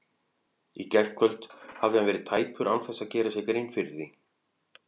Í gærkvöld hafði hann verið tæpur án þess að gera sér grein fyrir því.